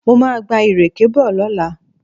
Mo máa gba ìrèké bọ̀ lọ́la